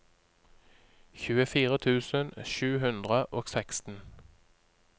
tjuefire tusen sju hundre og seksten